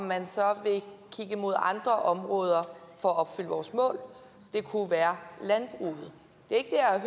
man så kigge mod andre områder for at opfylde vores mål det kunne være landbruget det er